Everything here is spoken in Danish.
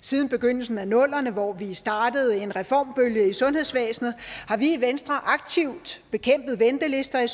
siden begyndelsen af nullerne hvor vi startede en reformbølge i sundhedsvæsenet har vi i venstre aktivt bekæmpet ventelister i